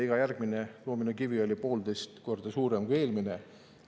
Iga järgmine doominokivi oli poolteist korda suurem kui eelmine.